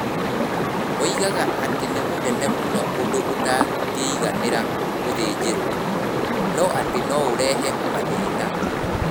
Moigaga atĩ nĩ mũnene mũno ũndũ ũtangĩiganĩra gĩthĩnjrwo, na atĩ no ũrehe mathĩna.